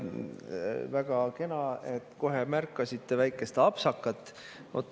Väga kena, et te kohe märkasite väikest apsakat.